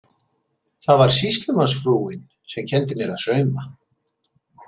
Það var sýslumannsfrúin sem kenndi mér að sauma.